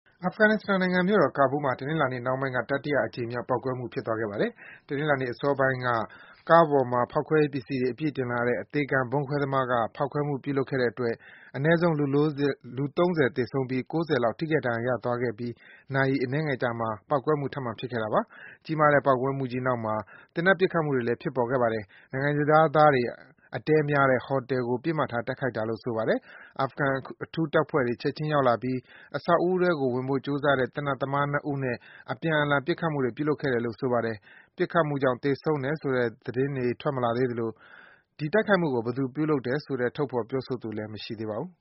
အာဖဂန်နစ္စတန်နိုင်ငံမြို့တော် ကာဘူးလ်မှာ တနင်္လာနေ့နှောင်းပိုင်း တတိယအကြိမ်မြောက် ပေါက်ကွဲမှု ဖြစ်သွားခဲ့ပါတယ်။ တနင်္လာနေ့ အစောပိုင်းတုန်းက ကားပေါ်မှာ ဖောက်ခွဲရေးပစ္စည်းတွေ အပြည့်တင်လာတဲ့ အသေခံဗုံးခွဲသမားက ဖောက်ခွဲမှု ပြုလုပ်ခဲ့တဲ့အတွက် အနဲဆုံး လူ ၃၀ သေဆုံးပြီး ၉၀ လောက် ထိခိုက်ဒဏ်ရာ ရသွားခဲ့ပြီး နာရီ အနည်းငယ်အကြာမှာ ပေါက်ကွဲမှု ထပ်မံ ဖြစ်ခဲ့တာပါ။ ကြီးမားတဲ့ ပေါက်ကွဲမှုကြီးနောက်မှာ သေနတ်ပစ်ခတ်မှုတွေလည်း ဖြစ်ပေါ်ခဲ့ပါတယ်။ နိုင်ငံခြားသားတွေ အတည်းများတဲ့ ဟိုတယ်ကို ပစ်မှတ်ထား တိုက်ခိုက်တာလို့ ဆိုပါတယ်။ အာဖဂန်အထူးတပ်ဖွဲ့တွေ ချက်ခြင်းရောက်လာပြီး အဆောက်အဦးထဲကို ဝင်ဖို့ ကြိုးစားတဲ့ သေနတ်သမား ၂ ဦးနဲ့ အပြန်အလှန် ပစ်ခတ်မှုတွေ ဖြစ်ခဲ့တယ်လို့ ဆိုပါတယ်။ ပစ်ခတ်မှုကြောင့် သေဆုံးတယ်ဆိုတဲ့ သတင်းထွက်မလာသေးသလို ဒီတိုက်ခိုက်မှုကို ဘယ်သူပြုလုပ်တယ်ဆိုတဲ့ ထုတ်ဖော် ပြောဆိုသူလည်း မရှိသေးပါဘူး